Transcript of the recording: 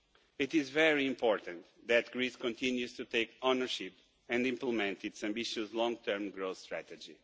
It is very important that Greece continues to take ownership and implement its ambitious long-term growth strategy.